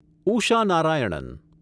Usha Narayanan